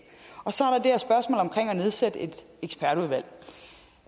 nedsætte et ekspertudvalg